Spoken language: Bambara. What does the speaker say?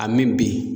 A mi bi